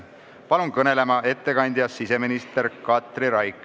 Palun kõnelema ettekandja siseminister Katri Raigi.